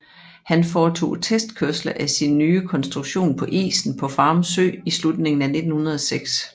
Han foretog testkørsler af sin nye konstruktion på isen på Farum Sø i slutningen af 1906